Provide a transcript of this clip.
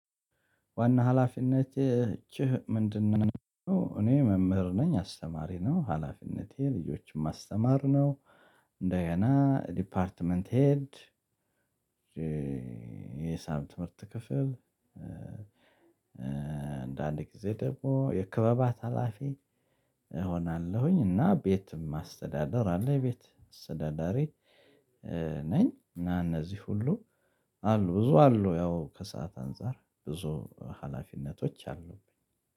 ዋና ሀላፊነት ኢች ምንድነው? እኔ መምህር ነኝ አስተማሪ ነው ሀላፊነቴ ልጆችን ማስተማር ነው። እንደገና ዲፓርትመንት ሄድ የሂሳብ ትምህርት ክፍል። አንዳንድ ጊዜ ደግሞ የክበባት ሀላፊ እሆናለሁኝ። እና ቤትም አስተዳደር አለ ቤት አስተዳዳሪ ነኝ። እና እነዚህ ሁሉ አሉ ብዙ አሉ ያው ከሰአት አንፃር ብዙ ሀላፊነቶች አሉብኝ